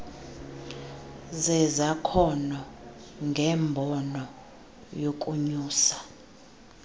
zezakhono ngembono yokunyusa